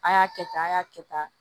A y'a kɛ ten a y'a kɛ tan